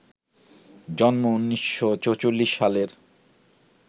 জন্ম ১৯৪৪ সালের